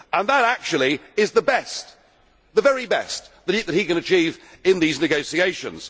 And that actually is the very best that he can achieve in these negotiations.